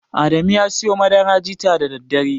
Adamu ya siyo madara jita da daddare.